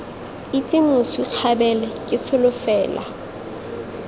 itse moswi kgabele ke solofela